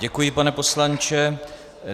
Děkuji, pane poslanče.